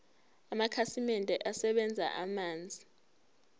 amakhasimende asebenzisa amanzi